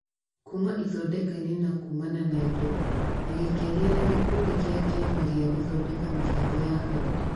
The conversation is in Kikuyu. kuma ithondeka-inĩ na kuumana na indo - na gĩkĩaria na gĩkundi kĩa Kĩama gĩa Gũthondeka Mĩbango ya Arutwo .